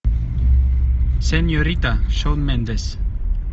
сеньорита шон мендес